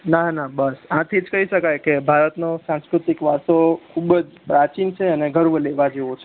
નાના બસ આથીજ કેવાય શકાય કે ભારત ની સંસ્કૃતિક વરસો ખુબ જ પ્રાચીન છે અને ગોરવ લેવા જેવો છે